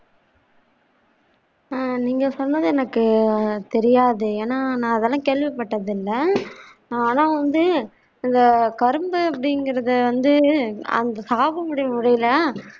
ஆஹ் நீங்க சொன்னது எனக்கு தெரியாது ஏன்னா நான் அதெல்லாம் கேள்விப்பட்டதில்ல ஆனா வந்து இந்த கரும்பு அப்படிங்கறது வந்து அந்த சாது போடி முறைல